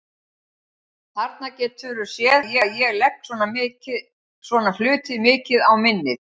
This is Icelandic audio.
Þarna geturðu séð hvað ég legg svona hluti mikið á minnið!